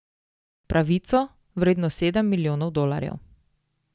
Pravico, vredno sedem milijonov dolarjev.